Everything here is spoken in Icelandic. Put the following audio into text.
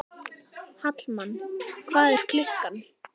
Hallmann, hvað er klukkan?